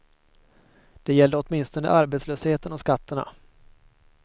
Det gällde åtminstone arbetslösheten och skatterna.